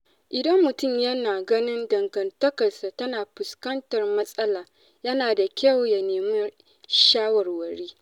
Idan mutum yana ganin dangantakarsa tana fuskantar matsala, yana da kyau ya nemi shawarwari.